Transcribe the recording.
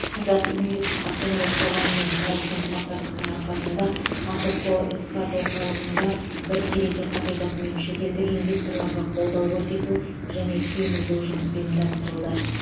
қазақ инвест акционерлік қоғаммен табысты ынтымақтастықтың арқасында ахқо экспат орталығында бір терезе қағидатымен шетелдік инвесторларға қолдау көрсету және сүйемелдеу жұмысы ұйымдастырылды